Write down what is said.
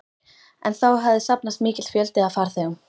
En þá hafði safnast mikill fjöldi af farþegum.